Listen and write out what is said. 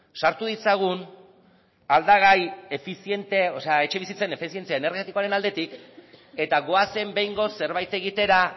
sartu ditzagun aldagai efiziente o sea etxebizitzen efizientzia energetikoaren aldetik eta goazen behingoz zerbait egitera